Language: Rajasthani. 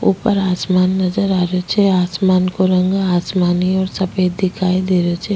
ऊपर आसमान नजर आ रो छे आसमान को रंग आसमानी और सफ़ेद दिखाई दे रो छे।